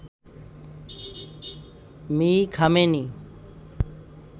Me. Khamenei